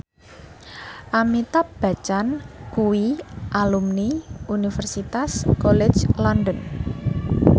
Amitabh Bachchan kuwi alumni Universitas College London